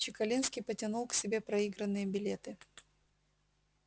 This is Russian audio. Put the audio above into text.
чекалинский потянул к себе проигранные билеты